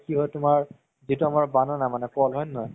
কি হয় তুমাৰ যিতো আমাৰ হয় নে নহয়